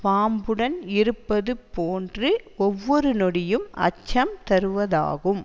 பாம்புடன் இருப்பது போன்று ஒவ்வொரு நொடியும் அச்சம் தருவதாகும்